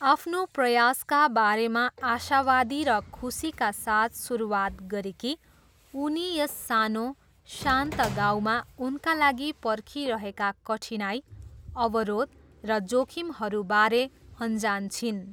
आफ्नो प्रयासका बारेमा आशावादी र खुसीका साथ सुरुवात गरेकी, उनी यस सानो, शान्त गाउँमा उनका लागि पर्खिरहेका कठिनाइ, अवरोध र जोखिमहरूबारे अनजान छिन्।